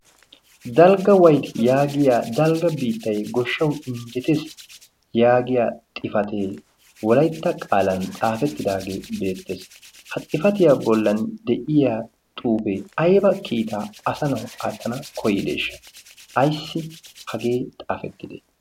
dalgga wayti yaagiya dalgga biittay goshshawu injjetees yaagiya xifatee wolaytta qaalan xaafettidaagee beettees ha xifatiyaa bollan de'iya xuufee ayba kiitaa asa nawu aattana koyideeshsha ayssi hagee xaafettide